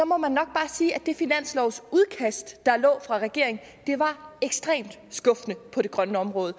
må man nok bare sige at det finanslovsudkast der lå fra regeringen var ekstremt skuffende på det grønne område